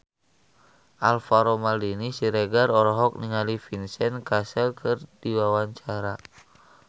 Alvaro Maldini Siregar olohok ningali Vincent Cassel keur diwawancara